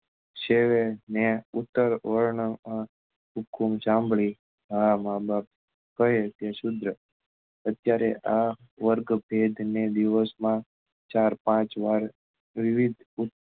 શિવે ને ઉત્તર વર્ણ નો હુક્કુમ સાંભળી માર્રા માં બાપ કરે તે અત્યારે આ વર્ગ પેટ ને દિવસ માં ચાર પાંચ વાર વિવિધ ઉત્તમ